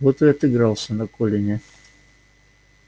вот и отыгрался на колине